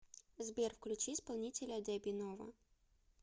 сбер включи исполнителя деби нова